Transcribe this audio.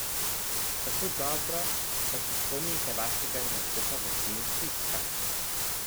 Kako dobro pa se spomnite vašega nastopa v Kinu Šiška?